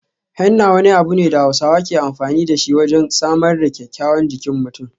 Henna wani abu ne da Hausawa ke amfani da shi wajen samar da kyawawan jikin mutum.